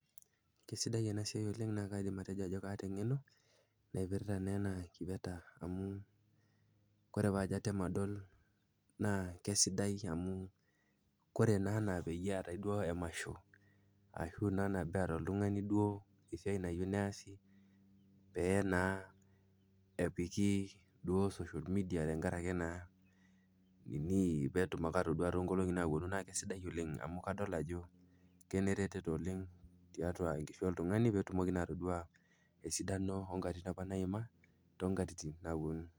Keisidai ena siai oleng naa kaidim atejo kaata eng'eno naipirta ena kipeta amu kore paajo atem adol kore naa peetai emasho esiai neyieu neesi peee naa epiki duo social media peetumi naa indamunot sidan oleng amu kadol ajo keretisho tiatu enkishui oltung'ani